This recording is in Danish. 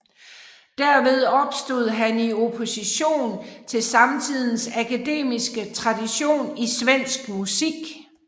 Derved stod han i opposition til samtidens akademiske tradition i svensk musik